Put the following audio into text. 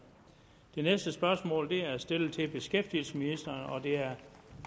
det næste spørgsmål er stillet til beskæftigelsesministeren og det er af